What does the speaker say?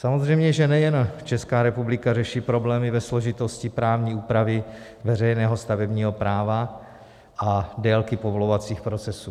Samozřejmě že nejen Česká republika řeší problémy ve složitosti právní úpravy veřejného stavebního práva a délky povolovacích procesů.